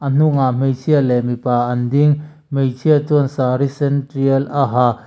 a hnungah hmeichhia leh mipa an ding hmeichhia chuan saree sen tial a ha.